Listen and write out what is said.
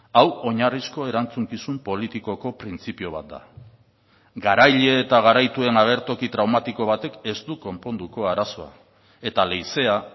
hau oinarrizko erantzukizun politikoko printzipio bat da garaile eta garaituen agertoki traumatiko batek ez du konponduko arazoa eta leizea